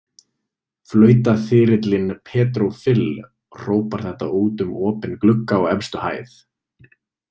Flautaþyrillinn Pedro Fill hrópar þetta út um opinn glugga á efstu hæð.